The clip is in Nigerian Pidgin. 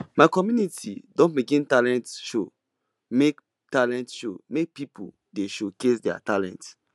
my community don begin talent show make talent show make pipo dey showcase their talent